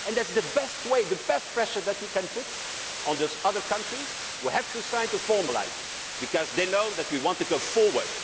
it. That is the best way, the best pressure that you can put on those other countries that have to sign formalise it, because they know that we want to go